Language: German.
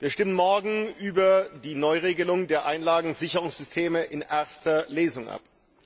Wir stimmen morgen über die Neuregelung der Einlagensicherungssysteme in erster Lesung ab.